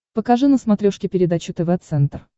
покажи на смотрешке передачу тв центр